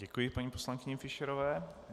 Děkuji paní poslankyni Fischerové.